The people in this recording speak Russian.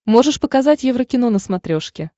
можешь показать еврокино на смотрешке